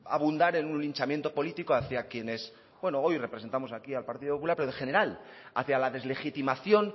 para abundar en un linchamiento político hacia quienes hoy representamos aquí el partido popular pero en general hacia la deslegitimación